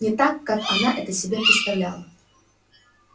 не так как она это себе представляла